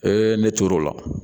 ne tor'o la